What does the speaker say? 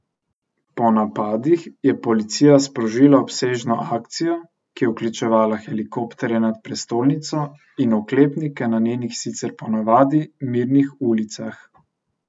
Po napadih je policija sprožila obsežno akcijo, ki je vključevala helikopterje nad prestolnico in oklepnike na njenih sicer po navadi mirnih ulicah.